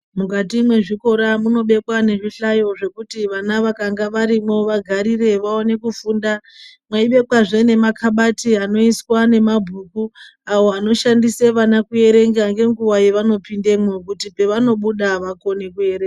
Mukati mezvikora munobekwa nezvihlayo zvekuti vana vakanga varimwo vagarire, vaone kufunda. Mweibekwazve nemakabathi anoiswa nemabhuku, awo anoshandise vana kuerenga ngenguwa yevanopindemwo, kuti pevanobuda vakone kuerenga.